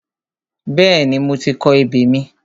Bẹ́ẹ̀ni, mo ti kọ ebè mi.